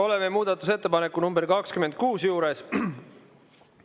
Oleme muudatusettepaneku nr 26 juures.